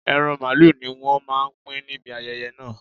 Ẹran màlúù ni wọ́n máa pín níbi ayẹyẹ náà